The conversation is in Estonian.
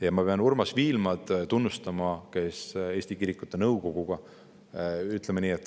Ja ma pean tunnustama Urmas Viilmad.